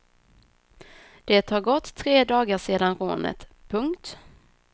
Det har gått tre dagar sedan rånet. punkt